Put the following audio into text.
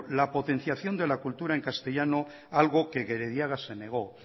la potenciación de la cultura en castellano algo que gerediaga se negó